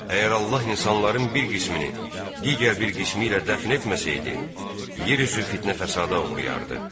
Əgər Allah insanların bir qismini, digər bir qismi ilə dəfn etməsəydi, yer üzü fitnə-fəsada uğrayardı.